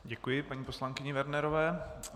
Děkuji paní poslankyni Wernerové.